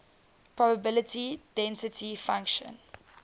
probability density function